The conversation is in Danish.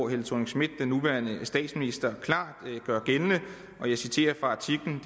helle thorning schmidt den nuværende statsminister klart gældende og jeg citerer fra artiklen